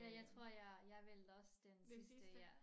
Ja jeg tror jeg jeg valgte også den sidste ja